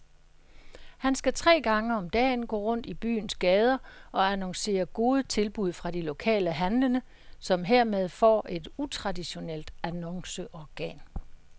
Han skal tre gange om dagen gå rundt i byens gader og annoncere gode tilbud fra de lokale handlende, som hermed får et utraditionelt annonceorgan.